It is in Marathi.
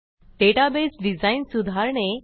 डेटाबेस डिझाइन सुधारणे